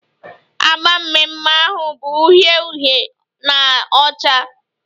Agba mmemme ahụ bụ uhie uhie na ọcha